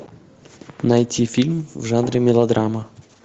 найти фильм в жанре мелодрама